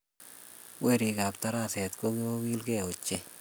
Werikab taraset kogigiilge ochei